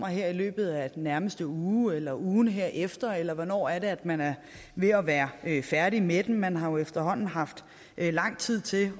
her i løbet af den nærmeste uge eller ugen herefter eller hvornår er det at man er ved at være færdig med den man har jo efterhånden haft lang tid til